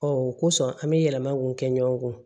Ɔ o kosɔn an bɛ yɛlɛma mun kɛ ɲɔgɔn